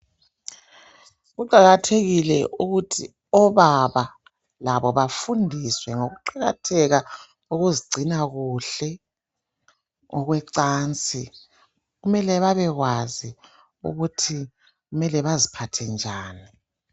Kuqakathekile ukuthi obaba labo bafundiswe ngokuqakatheka kokuzigcina kuhle okwecansi, kumele babekwazi ukuthi kumele baziphathe njani.